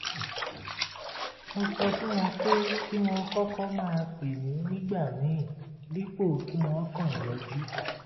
mo sọ fún wọn pé kí wọ́n kọ́kọ́ máa pè mí nígbà míì dípò kí wọ́n kàn yọjú